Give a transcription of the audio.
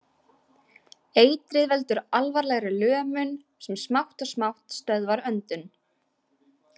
Eitrið veldur alvarlegri lömun, sem smátt og smátt stöðvar öndun.